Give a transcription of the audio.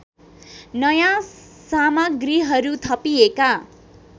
नयाँ सामग्रीहरु थपिएका